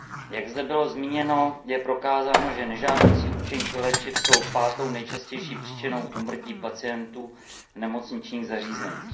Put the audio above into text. Jak zde bylo zmíněno, je prokázáno, že nežádoucí účinky léčiv jsou pátou nejčastější příčinou úmrtí pacientů v nemocničních zařízeních.